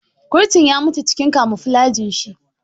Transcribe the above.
Kurtun ya mutu cikin kamuflajin shi.